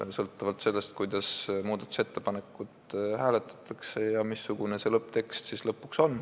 See sõltub sellest, kuidas hääletatakse muudatusettepanekuid ja missugune on lõpuks see lõpptekst.